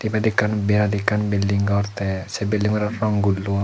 ibet ekkan birat ekkan belding gor te se beldinganot rong gullon.